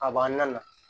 A b'an na